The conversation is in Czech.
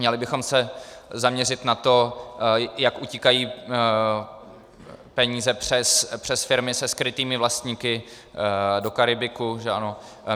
Měli bychom se zaměřit na to, jak utíkají peníze přes firmy se skrytými vlastníky do Karibiku, že ano?